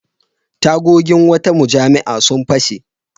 Tagogin wata mujami'a sun fashe.